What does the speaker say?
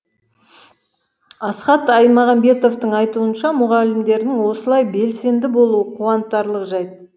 асхат аймағамбетовтің айтуынша мұғалімдердің осылай белсенді болуы қуантарлық жайт